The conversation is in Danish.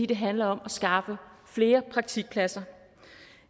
det handler om at skaffe flere praktikpladser